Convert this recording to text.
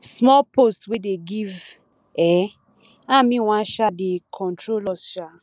small post wey dey give um am he wan um dey control us um